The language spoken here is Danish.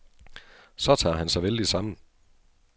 Så tager han sig vældigt sammen.